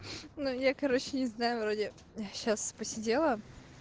ну я короче не знаю вроде сейчас посидела